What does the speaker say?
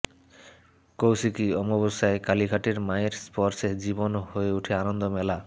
কৌশিকী অমাবস্যায় কালীঘাটের মায়ের স্পর্শে জীবন হয়ে ওঠে আনন্দমেলা